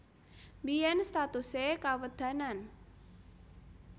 Biyèn statusé Kawedanan